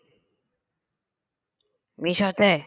মিশোতে